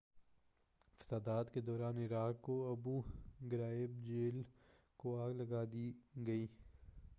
فسادات کے دوران عراق کی ابو غرائب جیل کو آگ لگا دی گئی